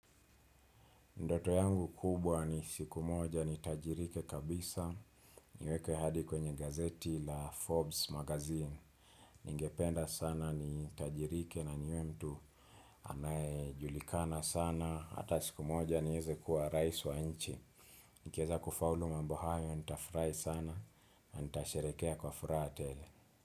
Ndoto yangu kubwa ni siku moja nitajirike kabisa niwekwe hadi kwenye gazeti la Forbes magazine. Ningependa sana ni tajirike na niwe mtu anayejulikana sana, hata siku moja niweze kuwa rais wa nchi. Nikieza kufaulu mambu hayo, nita furahi sana, nita sherehekea kwa furaha tele.